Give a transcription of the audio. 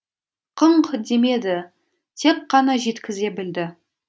қыңқ демеді тек қана жеткізе білді